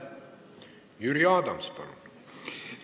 Jüri Adams, palun!